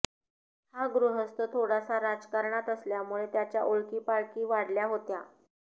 हा गृहस्थ थोडासा राजकारणात असल्यामुळे त्याच्या ओळखीपाळखी वाढल्या होत्या